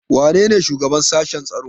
Wanene shugaban sashen tsaro?